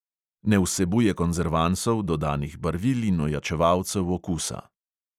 Ne vsebuje konzervansov, dodanih barvil in ojačevalcev okusa.